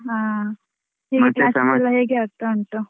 ಹಾ ಎಲ್ಲ ಹೇಗೆ ಆಗ್ತಾ ಉಂಟು?